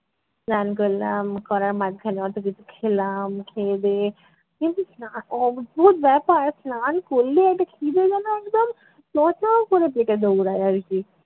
স্নান করলাম করার মাঝখানে অত কিছু খেলাম খেয়ে দেয়ে কিন্তু স্না~ অদ্ভুত ব্যাপার স্নান করলে একটা খিদে যেন একদম চো চো করে পেটে দৌড়ায় আর কী